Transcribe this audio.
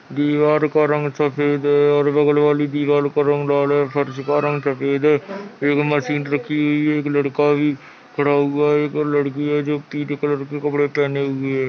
दीवार का रंग सफेद है और बगल वाली दीवाल का रंग लाल है फर्स का रंग सफ़ेद है एक मशीन रखी हुई है एक लड़का भी खड़ा हुआ है एक लड़की है जो पीले कलर के कपड़े पहने हुए है।